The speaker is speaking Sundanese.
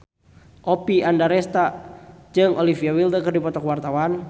Oppie Andaresta jeung Olivia Wilde keur dipoto ku wartawan